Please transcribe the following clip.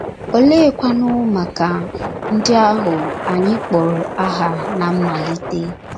Oleekwanụ maka ndị ahụ anyị kpọrọ aha ná mmalite?